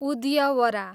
उद्यवरा